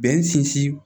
Bɛn sinsin